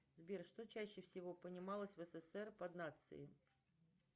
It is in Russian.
сбер что чаще всего понималось в ссср под нацией